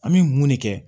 An bɛ mun de kɛ